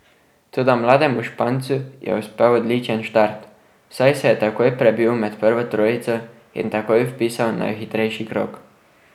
Toda mlademu Špancu je uspel odličen štart, saj se je takoj prebil med prvo trojico in takoj vpisal najhitrejši krog.